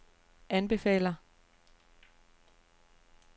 anbefaler